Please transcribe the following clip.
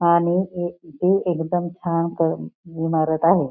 आणि एकदम छान इमारत आहे.